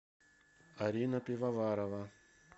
арина пивоварова